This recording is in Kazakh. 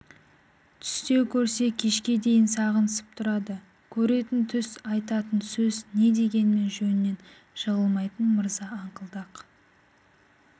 түсте көрсе кешке дейін сағынысып тұрады көретін түс айтатын сөз не дегенімен жөнінен жығылмайтын мырза аңқылдақ